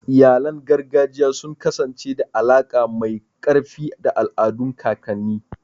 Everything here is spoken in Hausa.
Iyalan gargajiya sun kasance da alaƙa mai ƙarfi da al'adun kakanni.